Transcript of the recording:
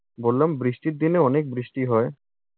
বললাম বৃষ্টির দিনে অনেক বৃষ্টি হয়।